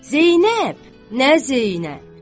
Zeynəb nə Zeynəb?